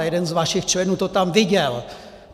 A jeden z vašich členů to tam viděl!